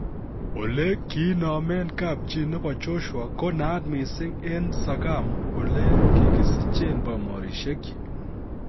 Ole kiinomen kapchi nebo Joshua ko naat mising en Sagamu ole kogisichen bomorisiekyik.